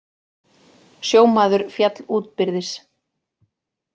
Sjómaður féll útbyrðis